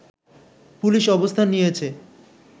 police অবস্থান নিয়েছে